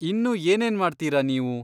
ಇನ್ನೂ ಏನೇನ್ಮಾಡ್ತೀರ ನೀವು?